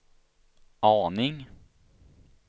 aning